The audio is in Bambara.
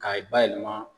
K'a bayɛlɛma